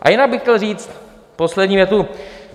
A jinak bych chtěl říct poslední větu.